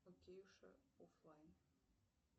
оффлайн